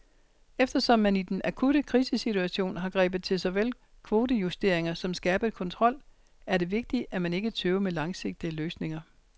Eftersom man i den akutte krisesituation har grebet til såvel kvotejusteringer som skærpet kontrol, er det vigtigt, at man ikke tøver med langsigtede løsninger.